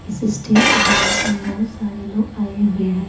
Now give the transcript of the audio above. इस state bank में बहुत सारे लोग आए हुए हैं।